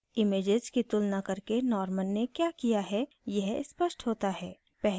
images की तुलना करके norman ने क्या किया है यह स्पष्ट होता है